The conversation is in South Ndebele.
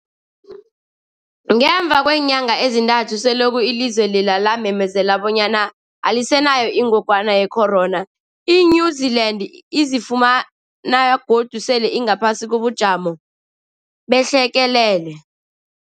Ngemva kweenyanga ezintathu selokhu ilizwe lela lamemezela bonyana alisenayo ingogwana ye-corona, i-New-Zealand izifumana godu sele ingaphasi kobujamo behlekelele.